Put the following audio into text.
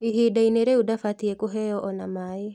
Ihindainĩ rĩu ndabatiĩ kũheo ona maaĩ